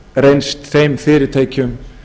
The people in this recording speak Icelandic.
reynst þeim fyrirtækjum